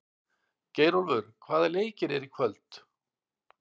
Geirólfur, hvaða leikir eru í kvöld?